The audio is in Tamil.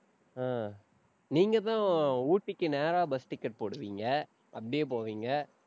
அஹ் நீங்கதான் ஊட்டிக்கு நேரா bus ticket போடுவீங்க. அப்படியே போவீங்க.